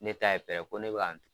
Ne t' a ye fɛ ko ne bɛ yan nɔ.